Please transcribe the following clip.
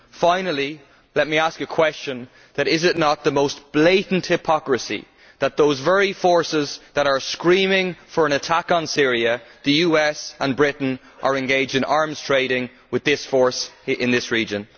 Finally, let me ask the question is it not the most blatant hypocrisy that those very forces that are screaming for an attack on Syria the US and Britain are engaged in arms trading with this force in this region?